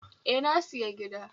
E, na siya gida